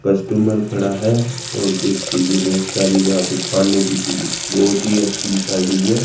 Customer खड़ा है और कुछ चीजें बहोत सारी यहां पे खाने की चीजें बहोत ही अच्छी दिखाई गई है।